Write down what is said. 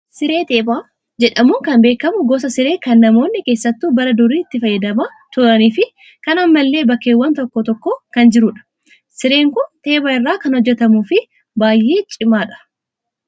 Siree teephaa jedhamuun kan beekamu gosa siree kan namoonni keessattuu bara durii itti fayyadamaa turanii fi kan ammallee bakkeewwan tokko tokko kan jirudha. Sireen kun teepha irraa kan hojjatamuu fi baay'ee cimaadha.